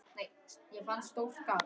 Jú, í augum pabba